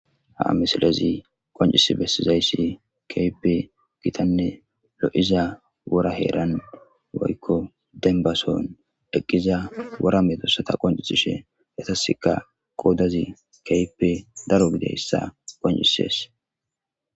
Ha misilezi qoncisi besizaysi kehippe gitane lo'iza wora heran eqida wora medosata qoncisishe etasika qodazi kehippe daro gididaysa qoncises.